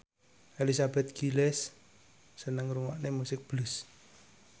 Elizabeth Gillies seneng ngrungokne musik blues